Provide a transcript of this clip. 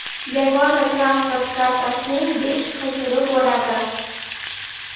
yagona transport kartasining besh xil turi bo‘ladi.